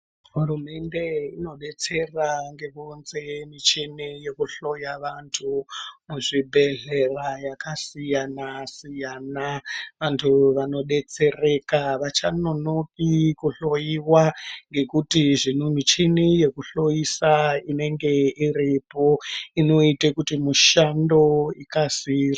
Hurumende inobetsera ngekuunze michini yekuhloya vantu muzvibhedhlera yakasiyana-siyana. Vantu vanobetsereka havachanonoki kuhloiwa ngekuti zvino michini yekuhoisa inenge iripo inoite kuti mushando ikasire.